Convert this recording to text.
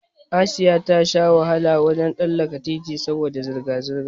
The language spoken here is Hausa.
Asiya ta sha wahala wajen tsallaka titi saboda zirga zirga